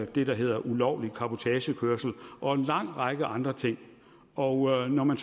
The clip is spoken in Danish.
det der hedder ulovlig cabotagekørsel og en lang række andre ting og når man